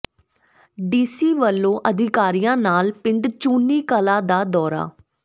DC ਵੱਲੋਂ ਅਧਿਕਾਰੀਆਂ ਨਾਲ ਪਿੰਡ ਚੁੰਨ੍ਹੀ ਕਲਾਂ ਦਾ ਦੌਰਾ